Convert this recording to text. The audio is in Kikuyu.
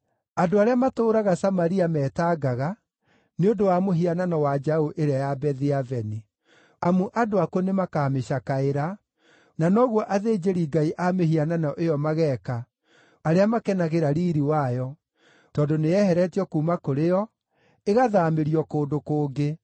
Andũ arĩa matũũraga Samaria metangaga nĩ ũndũ wa mũhianano wa njaũ ĩrĩa ya Bethi-Aveni. Amu andũ akuo nĩmakamĩcakaĩra, na noguo athĩnjĩri-ngai a mĩhianano ĩyo mageeka arĩa makenagĩra riiri wayo, tondũ nĩyeheretio kuuma kũrĩ o, ĩgathaamĩrio kũndũ kũngĩ.